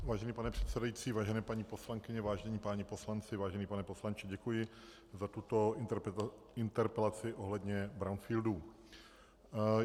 Vážený pane předsedající, vážené paní poslankyně, vážení páni poslanci, vážený pane poslanče, děkuji za tuto interpelaci ohledně brownfieldů.